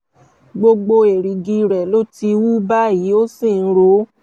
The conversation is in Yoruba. gbogbo èrìgì rẹ̀ ló ti wú báyìí ó sì ń ro ó